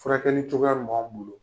Furakɛli cogoya min b'anw bolo.